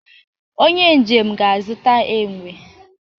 onye njem ga-azụta enwe